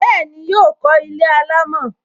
Bẹẹni, yọ kó ilé alámò